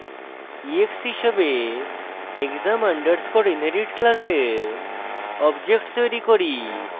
ex হিসাবে exam underscore inherit class object তৈরী করি